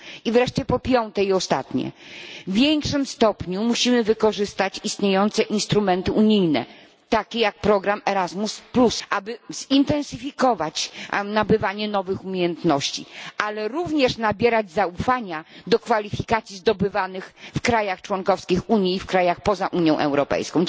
I wreszcie po piąte i ostatnie w większym stopniu musimy wykorzystać istniejące instrumenty unijne, takie jak program Erasmus, aby zintensyfikować nabywanie nowych umiejętności, ale również nabierać zaufania do kwalifikacji zdobywanych w krajach członkowskich Unii i w krajach poza Unią Europejską.